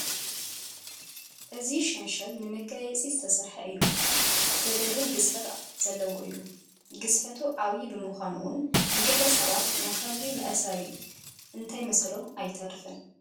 እዚ ሸንሸል ንመጋየፂ ዝተሰርሐ እዩ፡፡ ዘግርም ግዝፈት ዘለዎ እዩ፡፡ ግዝፈቱ ዓብዪ ብምዃኑ እውን ንገለ ሰባት ናይ ከልቢ መእሰሪ እንተይመሰሎም ኣይተርፍን፡፡